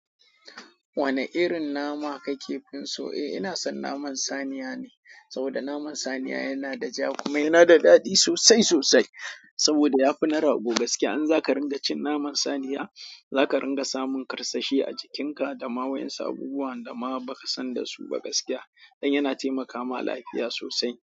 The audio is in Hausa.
Wane irin nama kake fin so? Eh, ina son naman saniya ne, saboda naman saniya yana da ja kuma yana da daɗi sosai sosai. Saboda ya fi na rago gaskiya. In zaka ringa cin naman saniya, zaka ringa samun karsashi a jikinka da ma waƴansu abubuwan da ma baka san dasu ba gaskiya. Dan yana taimakama lafiya sosai.